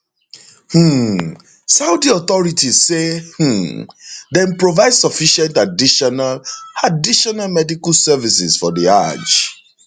um saudi authorities say um dem provide sufficient additional additional medical services for di hajj